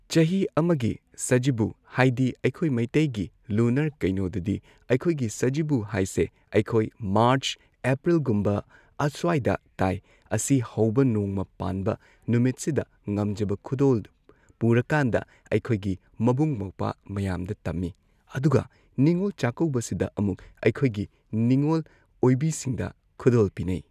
ꯆꯍꯤ ꯑꯃꯒꯤ ꯁꯖꯤꯕꯨ ꯍꯥꯏꯗꯤ ꯑꯩꯈꯣꯏ ꯃꯩꯇꯩꯒꯤ ꯂꯨꯅꯔ ꯀꯩꯅꯣꯗꯗꯤ ꯑꯩꯈꯣꯏ ꯁꯖꯤꯕꯨ ꯍꯥꯏꯁꯦ ꯑꯩꯈꯣꯏꯒꯤ ꯃꯥꯔꯆ ꯑꯦꯄ꯭ꯔꯤꯜꯒꯨꯝꯕ ꯑꯁ꯭ꯋꯥꯏꯗ ꯇꯥꯏ ꯑꯁꯤ ꯍꯧꯕ ꯅꯣꯡꯃ ꯄꯥꯟꯕ ꯅꯨꯃꯤꯠꯁꯤꯗ ꯉꯝꯖꯕ ꯈꯨꯗꯣꯜ ꯄꯨꯔꯀꯥꯟꯗ ꯑꯩꯈꯣꯏꯒꯤ ꯃꯕꯨꯡ ꯃꯧꯄ꯭ꯋꯥ ꯃꯌꯥꯝꯗ ꯇꯝꯃꯤ ꯑꯗꯨꯒ ꯅꯤꯉꯣꯜ ꯆꯥꯛꯀꯧꯕꯁꯤꯗ ꯑꯃꯨꯛ ꯑꯩꯈꯣꯏꯒꯤ ꯅꯤꯉꯣꯜ ꯑꯣꯏꯕꯤꯁꯤꯡꯗ ꯈꯨꯗꯣꯜ ꯄꯤꯅꯩ꯫